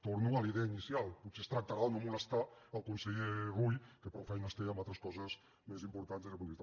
torno a la idea inicial potser es tractarà de no molestar el conseller rull que prou feina té amb altres coses més importants des del punt de vista